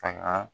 Ka